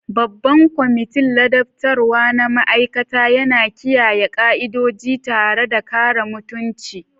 Babban kwamitin ladabtarwa na ma'aikata yana kiyaye ka'idoji tare da kare mutunci.